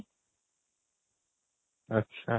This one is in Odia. ଆଚ୍ଛା